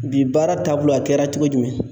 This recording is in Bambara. Bi baara taabolo a kɛra cogo jumɛn ?